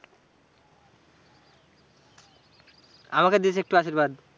আমাকে দিয়েছে একটু আশীর্বাদ।